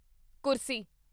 ਕੁਰਸੀ